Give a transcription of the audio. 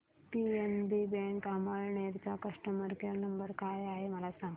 PNB bank Amalner चा customer care number काय आहे मला सांगा